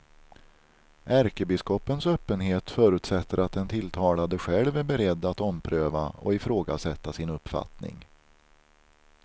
Ärkebiskopens öppenhet förutsätter att den tilltalade själv är beredd att ompröva och ifrågasätta sin uppfattning.